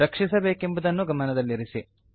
ರಕ್ಷಿಸಬೇಕೆಂಬುದನ್ನು ಗಮನದಲ್ಲಿರಲಿ